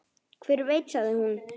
Hver veit sagði hún.